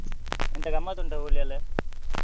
ಎಂತ ಗಮ್ಮತ್ ಉಂಟಾ Holi ಯೆಲ್ಲ?